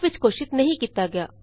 ਸ਼ਕੋਪ ਵਿਚ ਘੋਸ਼ਿਤ ਨਹੀਂ ਕੀਤਾ ਗਿਆ